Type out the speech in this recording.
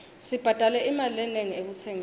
sibhadale imali lenengi ekutsengeni